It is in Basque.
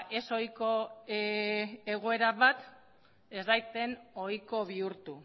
ez ohiko egoera bat ez daiten ohiko bihurtu